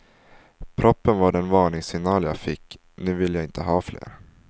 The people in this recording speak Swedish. Proppen var den varningssignal jag fick, nu vill jag inte ha fler.